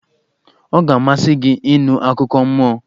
Ọ ga-amasị gị ịnụ akụkọ mmụọ?